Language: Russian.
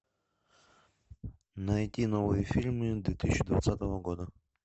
найти новые фильмы две тысячи двадцатого года